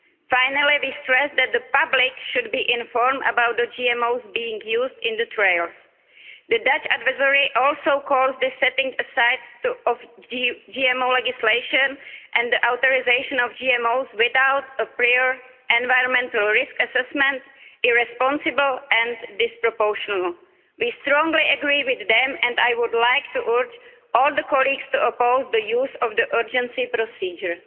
Finally, we stress that the public should be informed about the GMOs being used in the trials. The Dutch advisory body also calls this setting aside of GMO legislation and the authorisation of GMOs without a prior environmental risk assessment irresponsible and disproportional. We strongly agree with them and I would like to urge all colleagues to oppose the use of the urgency procedure.